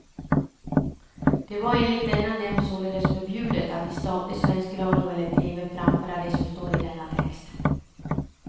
Det var enligt denna nämnd således förbjudet att i statlig svensk radio eller tv framföra det som står i denna text.